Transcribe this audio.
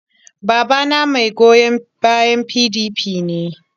Babana mai goyon bayan PDP ne.